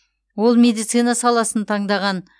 ол медицина саласын таңдаған